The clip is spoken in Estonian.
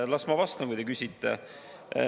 Las ma vastan, kui te küsite.